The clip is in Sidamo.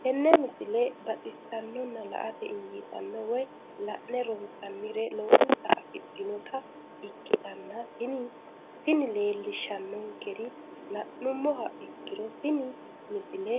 tenne misile baxisannonna la"ate injiitanno woy la'ne ronsannire lowote afidhinota ikkitanna tini leellishshannonkeri la'nummoha ikkiro tini misile